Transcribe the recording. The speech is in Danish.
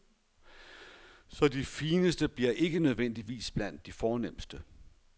Så de fineste bliver ikke nødvendigvis blandt de fornemmeste.